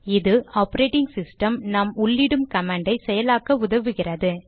இது operating system நாம் உள்ளிடும் கமாண்டை செயலாக்க உதவுகிறது